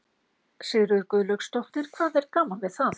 Sigríður Guðlaugsdóttir: Hvað er gaman við það?